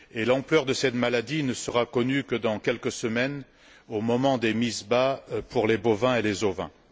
L'ampleur de cette maladie ne sera connue que dans quelques semaines, au moment des mises bas pour les bovins et les ovins.